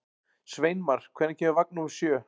Sveinmar, hvenær kemur vagn númer sjö?